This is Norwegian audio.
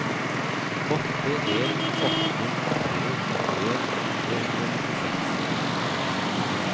åtte en åtte tre nittien tre hundre og nittiseks